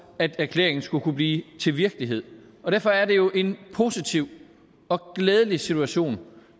at erklæringen skulle kunne blive til virkelighed derfor er det jo en positiv og glædelig situation